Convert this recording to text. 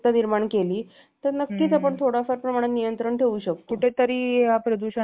कुठेतरी या प्रदूषणावर थोडासा तरी परिणाम होऊ शकतो म्हणजे नियंत्रण राहू शकतो